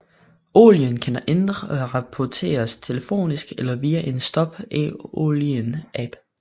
Olien kan indrapporteres telefonisk eller via en Stop Olien app